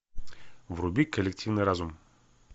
вруби коллективный разум